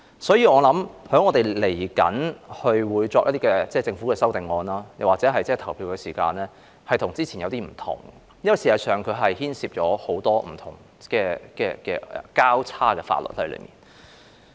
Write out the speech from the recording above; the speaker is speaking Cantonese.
所以，我相信稍後就政府的修正案投票時，會與之前有些分別，因為事實上，當中牽涉很多不同的"交叉"法律。